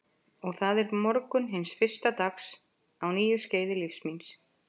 Og það er morgunn hins fyrsta dags á nýju skeiði lífs míns.